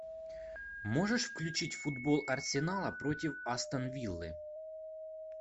можешь включить футбол арсенала против астон виллы